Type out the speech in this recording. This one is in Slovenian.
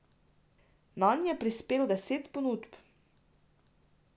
Nanj je prispelo deset ponudb.